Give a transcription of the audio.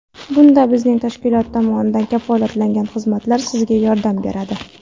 Bunda bizning tashkilot tomonidan kafolatlangan xizmatlar sizga yordam beradi.